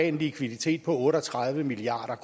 en likviditet på otte og tredive milliard